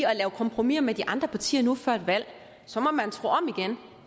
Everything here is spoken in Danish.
at lave kompromiser med de andre partier nu før et valg så må man tro om igen